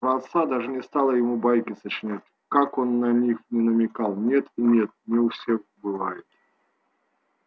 про отца даже не стала ему байки сочинять как он на них ни намекал нет и нет не у всех бывает